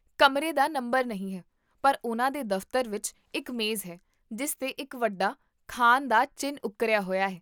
ਕਮਰੇ ਦਾ ਨੰਬਰ ਨਹੀਂ ਹੈ, ਪਰ ਉਹਨਾਂ ਦੇ ਦਫਤਰ ਵਿੱਚ ਇੱਕ ਮੇਜ਼ ਹੈ ਜਿਸ 'ਤੇ ਇੱਕ ਵੱਡਾ 'ਖਾਨ' ਦਾ ਚਿੰਨ੍ਹ ਉੱਕਰਿਆ ਹੋਇਆ ਹੈ